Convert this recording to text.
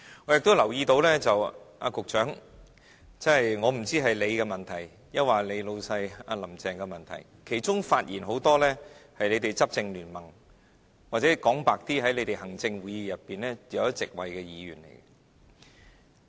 我也留意到局長，我不知道這是局長的問題，還是你的老闆"林鄭"的問題，其中很多發言的是你們執政聯盟的人，或者說得坦白一點，是在你們行政會議裏有一席位的議員。